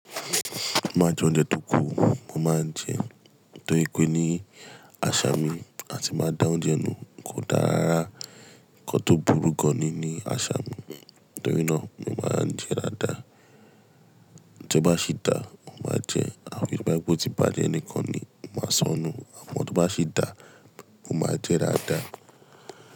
Máa jẹ oúnjẹ tó kù, mo máa ń jẹ torí pé ni àṣà mi àti máa dá oúnjẹ nù kò dára unkan to burú gan ní àṣà mi. Torí náà mo máa ń jẹ dáadáa. Tí ó bá sì dà, mo máa jẹ àbí tí mo bá gbọ́ ti bàjẹ́ ẹni kan ni mo máa sọnù. Àmọ́ tí ó bá sì dà, mo máa jẹ dáadáa.